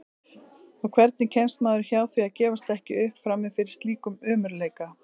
Og hvernig kemst maður hjá því að gefast ekki upp frammi fyrir slíkum ömurleika?